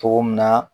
Cogo min na